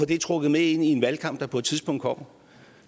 det trukket med ind i en valgkamp der på et tidspunkt kommer